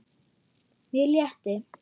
Mér létti.